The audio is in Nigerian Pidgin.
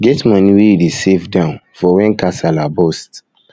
get money wey you dey save down for when kasala burst